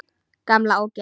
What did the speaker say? Gamla ógeð!